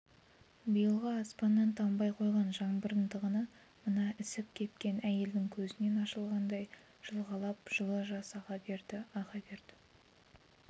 биылғы аспаннан тамбай қойған жаңбырдың тығыны мына ісіп-кепкен әйелдің көзінен ашылғандай жылғалап жылы жас аға берді аға берді